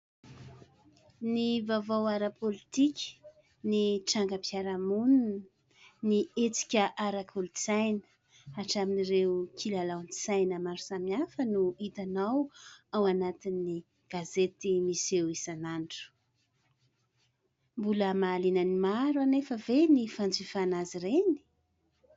Ny vaovao ara-politika, ny trangam-piarahamonina, ny hetsika ara-kolontsaina hatramin'ireo kilalaon-tsaina maro samihafa no hitanao ao anatin'ny gazety miseho isanandro. Mbola mahaliana ny maro anefa ve ny fanjifana azy ireny ?